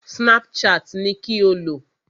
Snapchat ni kí o lò!